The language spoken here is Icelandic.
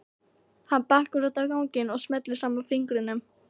Hann bakkar út á ganginn og smellir saman fingrunum.